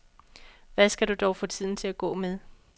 Hvad skal du dog få tiden til at gå med?